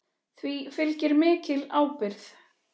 Því fylgir mikil ábyrgð.